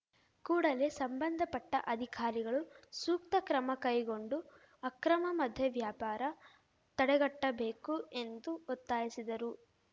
ಕೂಡಲೇ ಸಂಬಂಧಪಟ್ಟಅಧಿಕಾರಿಗಳು ಸೂಕ್ತ ಕ್ರಮ ಕೈಗೊಂಡು ಅಕ್ರಮ ಮದ್ಯ ವ್ಯಾಪಾರ ತಡೆಗಟ್ಟಬೇಕು ಎಂದು ಒತ್ತಾಯಿಸಿದರು